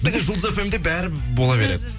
бізде жұлдыз фм де бәрі бола береді